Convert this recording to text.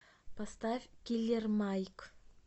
поставь киллер майк